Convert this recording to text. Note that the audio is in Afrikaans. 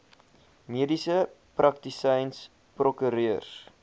mediese praktisyns prokureurs